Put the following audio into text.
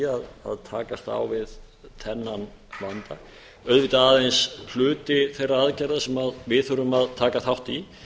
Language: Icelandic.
að takast á við þennan vanda auðvitað aðeins hluti þeirra aðgerða sem við þurfum að taka þátt í